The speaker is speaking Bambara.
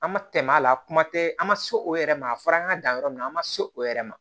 An ma tɛmɛ a la a kuma tɛ an ma so o yɛrɛ ma a fɔra an ka dan yɔrɔ min na an ma se o yɛrɛ ma